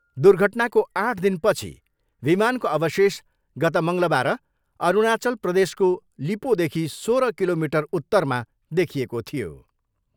दुर्घटनाको आठ दिनपछि विमानको अवशेष गत मङ्गलबार अरूणाचल प्रदेशको लिपोदेखि सोह्र किलोमिटर उत्तरमा देखिएको थियो।